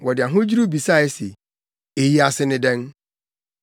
Wɔde ahodwiriw bisae se, “Eyi ase ne dɛn?”